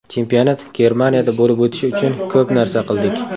Chempionat Germaniyada bo‘lib o‘tishi uchun ko‘p narsa qildik.